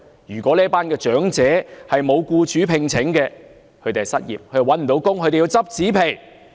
如果這群長者沒有僱主聘請便會失業，便要拾紙皮。